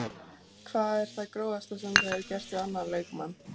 Hvað er það grófasta sem þú hefur gert við annan leikmann?